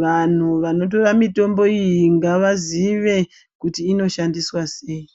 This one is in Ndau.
Vanhu vanotora mitombo iyi ngavazive kuti inoshandiswa sei.